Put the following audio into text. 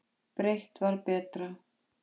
Breitt var betra.